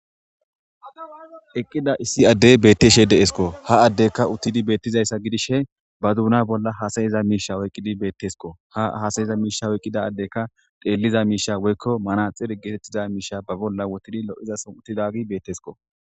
Eqqida issi addey beetteshe deesko ha addekka uttidi beettizayssa gidishe ba duuna bolla hasayiza miisha woyqqidi beettesko ha hasayiza miishawo eqqida addekka deelliza miisha woykko manaxir getettiza miisha ba bolla wotidi lo7izason uttidagi beettesko.